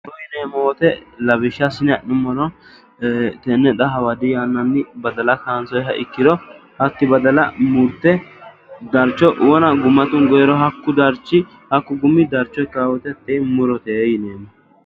Muro yineemmo woyiite lawishsha assine adhinummoro tenne xa hawadi yannanni badala kaansoyiiha ikkiro hatti badala murte darcho wona gumma tungoyiiro hakku gumi darcho ikkawo woyiite tini murote yineemmo